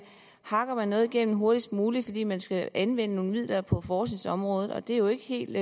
hakker noget igennem hurtigst muligt fordi man skal anvende nogle midler på forskningsområdet og det er jo ikke helt